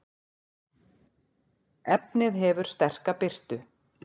efnið hefur sterka birtu